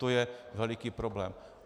To je veliký problém.